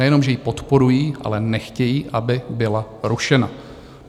Nejenom že ji podporují, ale nechtějí, aby byla zrušena.